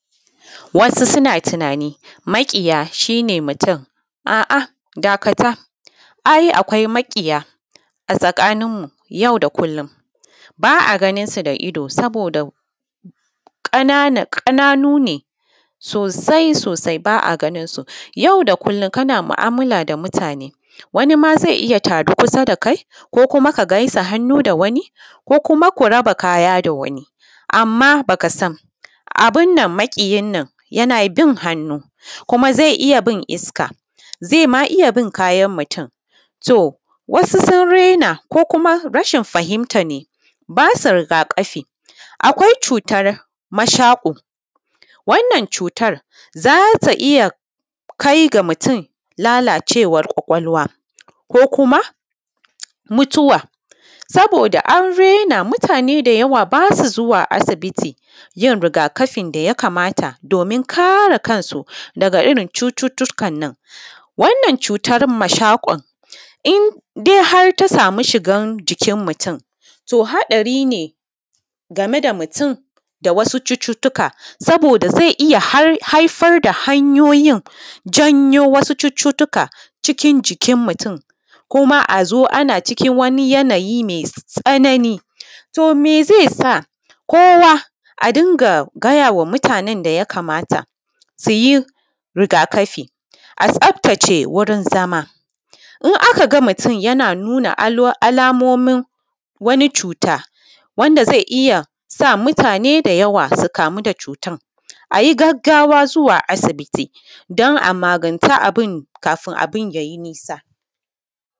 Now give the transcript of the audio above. Wasu suna tunanin maƙiya shi ne mutum a’a dakata. Ai, akwai maƙiya a tsakaninmu yau da kullum saboda ƙananu ne sosai-sosai ba a ganinsu, yau da kullum kana mu’amala da mutane wani ma zai iya zama tare kusa da kai ko kuma ka gaisa hannu da wani ko kuma ku raba kaya da wani, amma ba ka san abin nan maƙiyin nan yana bin hannu, kuma zai iya bin iska zai iya bin kayan mutum. To, wasu sun raina ko kuma rashin fahimta ne ba su rigakafi, akwai cutar mashako, wannan cutan za ta ita kai ga mutum lalacewar kwakwalwa ko kuma mutuwa, saboda an raina mutane da yawa ba su zuwa asibiti yin rigakafin da ya kamata domin kare kansu daga irin cututtukan nan. Wannan cutan mashakon indai har ta samu shiga jikin mutum to haɗari game da mutum da wasu cututtuka, saboda zai iya haifar da hanyoyin janyo wasu cututtuka cikin jikin mutum, kuma a zo a na ciki wani yanayi mai tsanani, to mai zai sa kowa a dinga gaya ma mutanen da ya kamata su yi rigakafi a tsaftace wurin zama in aka ga mutum yana nuna alamomin wani cuta wanda zai iya sa mutane da yawa su kamu da cutan a yi gaggawa zuwa asibiti don a magance abun kafin abun ya yi nisa.